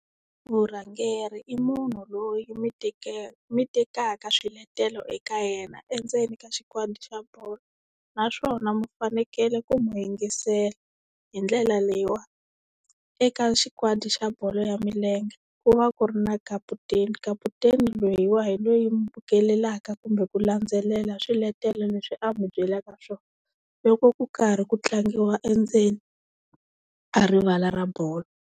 Vurhangeri i munhu loyi mi mi tekaka swiletelo eka yena endzeni ka xikwadi xa bolo naswona mi fanekele ku n'wi yingisela hi ndlela leyiwa eka xikwadi xa bolo ya milenge ku va ku ri na kaputeni, kaputeni loyiwa hi loyi mi bukelaka kumbe ku landzelela swiletelo leswi a mi byelaka swona loko ku karhi ku tlangiwa endzeni ka rivala ra bolo.